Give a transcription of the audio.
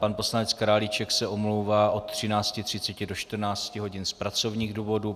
Pan poslanec Králíček se omlouvá od 13.30 do 14 hodin z pracovních důvodů.